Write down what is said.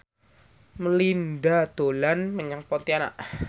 Melinda dolan menyang Pontianak